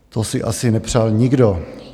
To si asi nepřál nikdo.